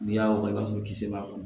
N'i y'a wɔrɔ i b'a sɔrɔ kisɛ b'a kɔnɔ